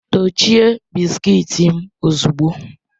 Dochie bisikiiti m ozugbo!